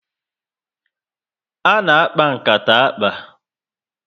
Ana akpa nkata akpa